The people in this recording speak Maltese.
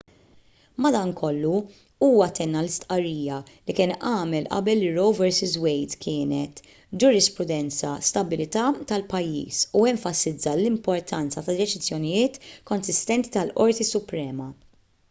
madankollu huwa tenna l-istqarrija li kien għamel qabel li roe vs wade kienet ġurisprudenza stabbilita tal-pajjiż u enfasizza l-importanza ta' deċiżjonijiet konsistenti tal-qorti suprema